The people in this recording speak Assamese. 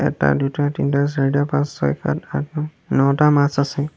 এটা দুটা তিনিটা চাৰিটা পাঁচ ছয় সাত আঠ ন নটা মাছ আছে।